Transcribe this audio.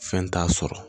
Fɛn t'a sɔrɔ